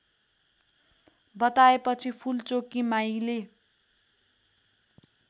बताएपछि फूलचोकी माईले